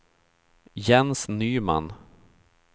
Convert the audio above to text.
Jens Nyman